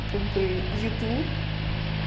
как бы ютуб